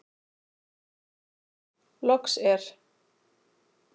Loks er.